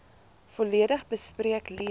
volledig bespreek lees